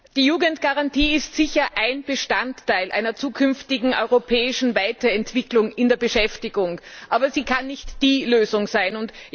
Herr Präsident! Die Jugendgarantie ist sicher ein Bestandteil einer zukünftigen europäischen Weiterentwicklung in der Beschäftigung, aber sie kann nicht die Lösung sein.